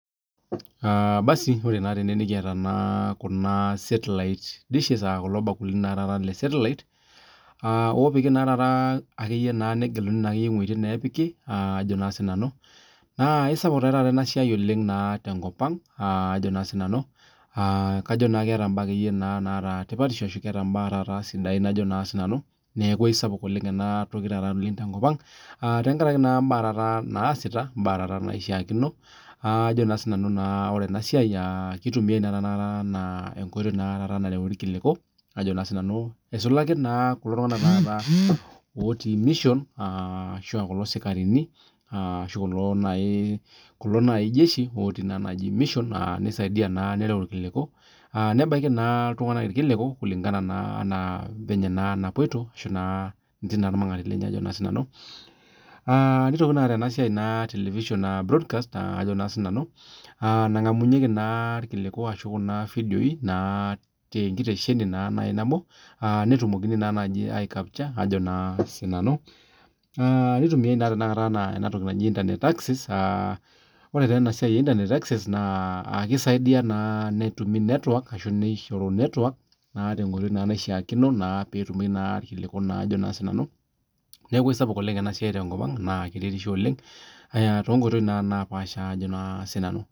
Ore naa tenewueji nikiata setlite dishes aa kulo bakulini lee setlite opiki negeluni ewuejitin napiki naa kisapuk taata enasiai tenkop ang kajo keeta ekeyie mbaa sidai neeku aisapuk oleng ena toki taata tenkop tenkaraki mbaa taata naasita mbaa taata naishakino ore enasiai kitumiai ena enkoitoi narewueki irkiliku eisulaki naa kulo tung'ana otii mission ashu kulo sikarini ashu kulo naaji jeshi otii mission nisaidia naa nerew irkiliku kulingana naa ofenye napuoito nebaiki naa iltung'ana pookin nitoki naataa enasiai etelivision broadcast nangamunhieki irkiliku ashu Kuna videoi tenkitesheni naa nabo netumokini naa aicapture[naitumiai naa tanakata ena toki aji internet access aa ore enatoki naaji internet access naa keisaidia nishoru network naa enkoitoi naishoyo irkiliku tenkoitoi naishakino neeku kisapuk enasiai oleng tenkop ang too nkoitoi naa napasha